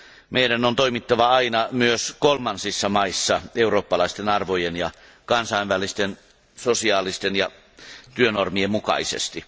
Meidän on toimittava aina myös kolmansissa maissa eurooppalaisten arvojen ja kansainvälisten sosiaalisten ja työnormien mukaisesti.